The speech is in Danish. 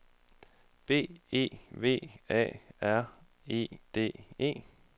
B E V A R E D E